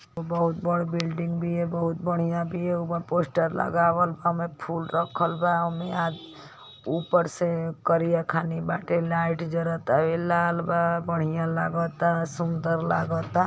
बहुत बड़ बिल्डिंग बिया बहुत बढ़िया बिया ओपर पोस्टर लगावल बा होमे फूल रखत बा ओमे आ ऊपर से करिया खानी बाटे लाइट जरतावे लाल बा बढ़िया लागता सुन्दर लागता।